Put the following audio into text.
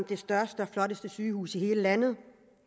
det største og flotteste sygehus i hele landet